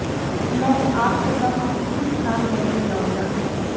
ਮੈਂ ਆਸ ਕਰਦਾ ਹਾਂ ਕਿ ਇਸ ਸਾਲ ਮੈਨੂੰ ਲਿਆਉਂਦਾ ਹੈ